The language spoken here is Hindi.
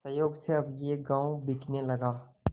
संयोग से अब यह गॉँव बिकने लगा